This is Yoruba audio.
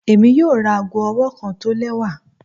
Emi yoo ra aago ọwọ kan tọ lẹwa